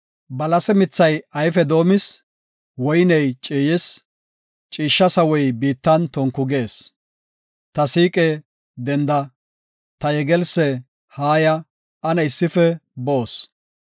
Balase mithay ayfe doomis; woyney ciiyis; ciishsha sawoy biittan tonku gees. Ta siiqe, denda; ta yegelsse, haaya; ane issife boos.”